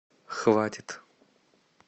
хватит